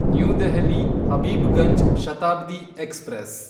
new Delhi Habibganj Shatabdi express